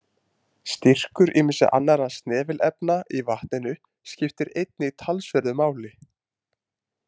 Styrkur ýmissa annarra snefilefna í vatninu skiptir einnig talsverðu máli.